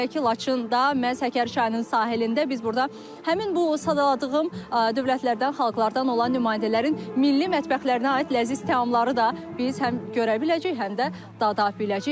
Belə ki, Laçında məhz Həkəri çayının sahilində biz burda həmin bu sadaladığım dövlətlərdən, xalqlardan olan nümayəndələrin milli mətbəxlərinə aid ləziz təamları da biz həm görə biləcəyik, həm də dada biləcəyik.